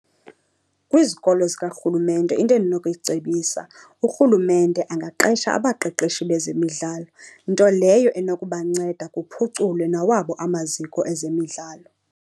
Kwizikolo zikarhulumente into endinokuyicebisa urhulumente angaqesha abaqeqeshi bezemidlalo, nto leyo enokubanceda kuphuculwe nawabo amaziko ezemidlalo.